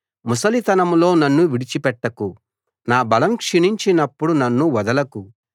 ముసలితనంలో నన్ను విడిచిపెట్టకు నా బలం క్షీణించినప్పుడు నన్ను వదలకు